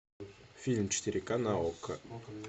фильм четыре ка на окко